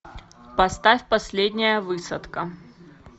поставь последняя высадка